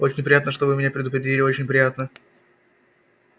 очень приятно что вы меня предупредили очень приятно